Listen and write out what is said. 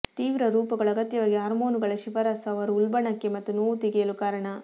ತೀವ್ರ ರೂಪಗಳು ಅಗತ್ಯವಾಗಿ ಹಾರ್ಮೋನುಗಳ ಶಿಫಾರಸು ಅವರು ಉಲ್ಬಣಕ್ಕೆ ಮತ್ತು ನೋವು ತೆಗೆಯಲು ಕಾರಣ